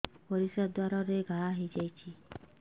ପରିଶ୍ରା ଦ୍ୱାର ରେ ଘା ହେଇଯାଇଛି